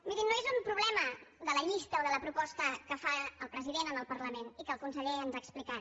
mirin no és un problema de la llista o de la proposta que fa el president en el parlament i que el conseller ens ha explicat